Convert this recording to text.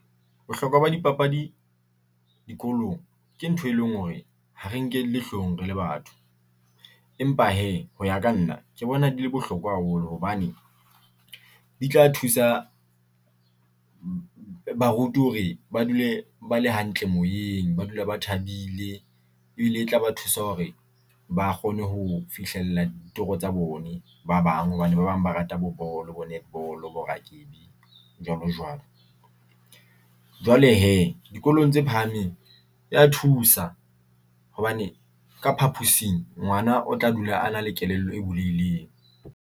Bohlokwa ba dipapadi dikolong ke ntho e leng hore ha re nke le hlohong re le batho. Empa hee ho ya ka nna ke bona di le bohloko haholo hobane di tla thusa, baruti hore ba dule ba le hantle moyeng, ba dula ba thabile ebile e tlaba thusa hore ba kgone ho fihlella ditoro tsa bone ba bang hobane ba bang ba rata bo bolo, bo netball, bo rakebi jwalo jwalo. Jwale hee dikolong tse phahameng ya thusa hobane ka phaposing ngwana o tla dula a na le kelello e bulehileng.